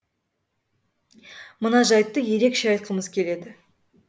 мына жайтты ерекше айтқымыз келеді